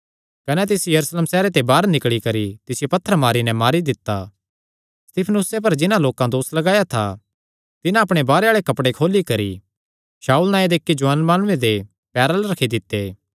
कने तिस यरूशलेम सैहरे दे बाहर निकल़ी करी तिसियो पत्थर मरी नैं मारी दित्ता स्तिफनुसे पर जिन्हां लोकां दोस लगाया था तिन्हां अपणे बाहरे आल़े कपड़े खोली करी शाऊल नांऐ दे इक्की जुआन माणुये दे पैरां अल्ल रखी दित्ते